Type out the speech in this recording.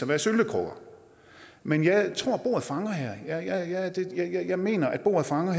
være syltekrukker men jeg tror bordet fanger her jeg mener at bordet fanger